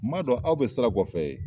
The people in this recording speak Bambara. N b'a dɔn aw bɛ sira kɔfɛ ye